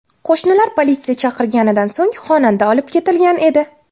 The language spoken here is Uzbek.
Qo‘shnilari politsiya chaqirganidan so‘ng xonanda olib ketilgan edi.